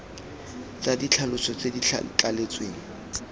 tsa ditlhaloso tse di thaletsweng